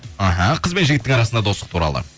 іхі қыз бен жігіттің арасындағы достық туралы